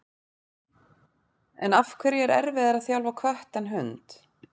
En af hverju er erfiðara að þjálfa kött en hund?